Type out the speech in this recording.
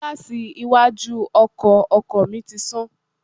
Gíláàsì iwájú ọkọ̀ ọkọ mi ti sán